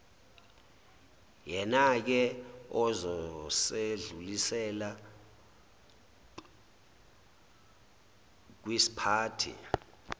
yenake ozosedlulisela wkisiphathi